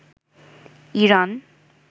Iran